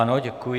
Ano, děkuji.